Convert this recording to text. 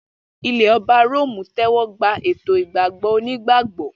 Ilẹ̀ Ọba Róòmù tẹ́wọ́ gba ètò ìgbàgbọ́ onígbàgbọ́.